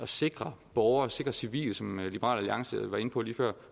sikre borgere sikre civile som liberal alliance var inde på lige før